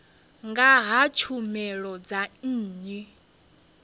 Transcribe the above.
nga ha tshumelo dza nnyi